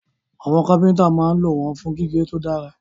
Àwọn kápẹ́ntà máa ń lò wọ́n fún gígé tó dára